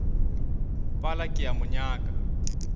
pala ke a mo nyaka